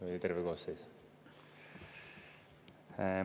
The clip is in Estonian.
Või oli terve koosseis?